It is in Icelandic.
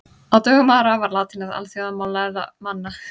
Á dögum Ara var latína alþjóðamál lærðra manna.